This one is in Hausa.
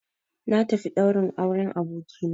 Na tafi ɗaurin auren abokina